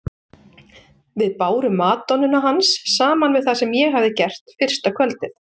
Við bárum madonnuna hans saman við það sem ég hafði gert fyrsta kvöldið.